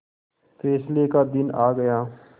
फैसले का दिन आ गया